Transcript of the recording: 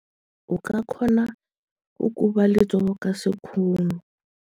O ka kgona go koba letsogo ka sekgono.